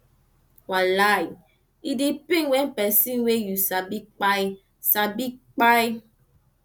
wallai e dey pain wen pesin wey yu sabi kpai sabi kpai